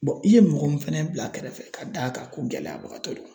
Bɔn i ye mɔgɔ min fɛnɛ bila kɛrɛfɛ ka d'a kan ko gɛlɛyabagatɔ don